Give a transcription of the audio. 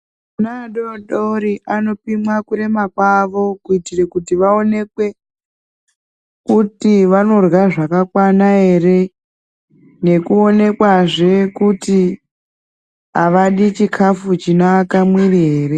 Ana adodori anopimwa kurema kwawo, kuitire kuti vaonekwe kuti vanorya zvakakwana ere nekuonekwazve kuti avadi chikafu chinoaka mwiri ere.